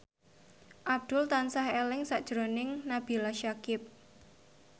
Abdul tansah eling sakjroning Nabila Syakieb